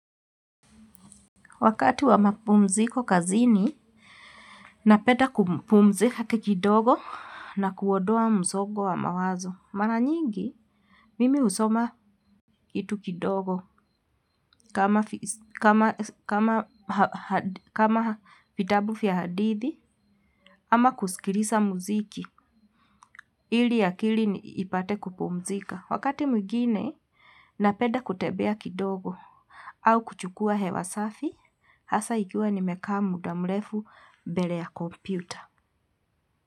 Wakati wa mapumziko kazini, napenda kupumzika kijidogo na kuondoa msongo wa mawazo. Maranyingi, mimi husoma kitu kidogo kama vitabu vya hadithi ama kusikiliza muziki ili akili ipate kupumzika. Wakati mwingine, napenda kutembea kidogo au kuchukua hewa safi, hasa ikiwa nimekaa muda mrefu mbele ya kompyuta.